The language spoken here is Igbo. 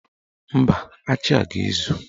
Mba, achị a ga-ezu.